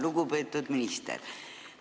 Lugupeetud minister!